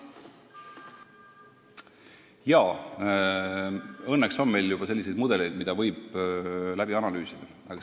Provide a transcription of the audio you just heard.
Jaa, õnneks meil juba on mudeleid, mida võib analüüsida.